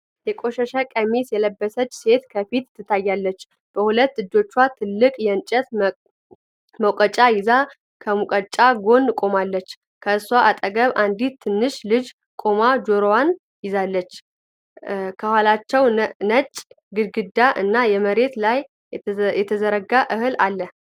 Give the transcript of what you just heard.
የቆሸሸ ቀሚስ የለበሰች ሴት ከፊት ትታያለች። በሁለት እጆቿ ትልቅ የእንጨት መውቀጫ ይዛ፣ ከሙቀጫ ጎን ቆማለች። ከእሷ አጠገብ አንዲት ትንሽ ልጅ ቆማ ጆሮዋን ይዛለች። ከኋላቸው ነጭ ግድግዳ እና መሬት ላይ የተዘረጋ እህል አለ።